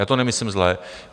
Já to nemyslím zle.